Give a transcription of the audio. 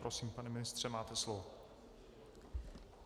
Prosím, pane ministře, máte slovo.